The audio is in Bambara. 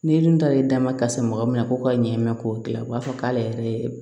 Ni dun ta ye dama ka san mɔgɔ min na ko ka ɲɛ k'o dilan o b'a fɔ k'ale yɛrɛ ye